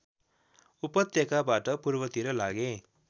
उपत्यकाबाट पूर्वतिर लागे